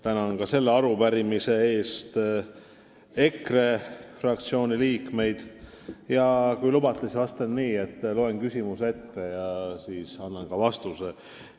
Tänan ka selle arupärimise eest EKRE fraktsiooni liikmeid ja kui lubate, siis vastan nii, et loen küsimuse ette ja siis annan ka vastuse.